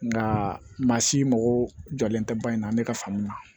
Nka maa si mako jɔlen tɛ ba in na an bɛ ka faamuya